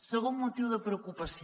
segon motiu de preocupació